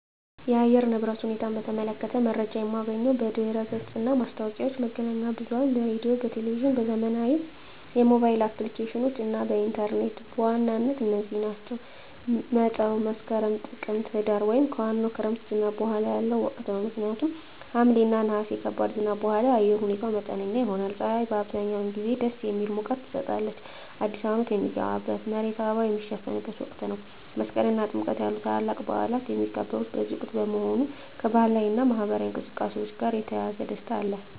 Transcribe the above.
የአየር ንብረት ሁኔታን በተመለከተ መረጃ የማገኘው በድረ-ገጽ እና ማስታወቂያዎች፣ መገናኛ ብዙኃን በራዲዮ፣ በቴሊቭዥን፣ ዘመናዊ የሞባይል አፕሊኬሽኖች እና ኢንተርኔት በዋናነት እነዚህ ናቸው። መፀው መስከረም፣ ጥቅምትና ህዳር) ወይም ከዋናው የክረምት ዝናብ በኋላ ያለው ወቅት ነው። ምክንያቱም ከሐምሌ እና ነሐሴ ከባድ ዝናብ በኋላ የአየር ሁኔታው መጠነኛ ይሆናል። ፀሐይ አብዛኛውን ጊዜ ደስ የሚል ሙቀት ትሰጣለች። አዲስ አመት ሚገባበት፣ መሬቱ በአበባ ሚሸፈንበት ወቅት ነው። መስቀል እና ጥምቀት ያሉ ታላላቅ በዓላት የሚከበሩት በዚህ ወቅት በመሆኑ፣ ከባህላዊ እና ማኅበራዊ እንቅስቃሴዎች ጋር የተያያዘ ደስታ አለ።